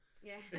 Ja